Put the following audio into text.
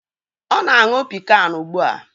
Ọ na-aṅụ pịkan ugbu a.